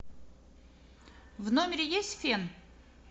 в номере есть фен